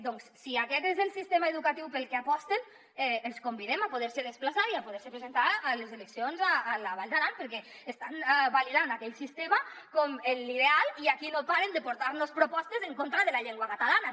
doncs si aquest és el sistema educatiu pel que aposten els convidem a poder se desplaçar i a poder se presentar a les eleccions a la vall d’aran perquè estan validant aquell sistema com l’ideal i aquí no paren de portar nos propostes en contra de la llengua catalana